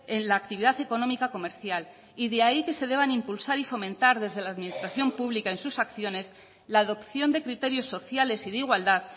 en la actividad económica comercial y de ahí que se deban impulsar y fomentar desde la administración pública en sus acciones la adopción de criterios sociales y de igualdad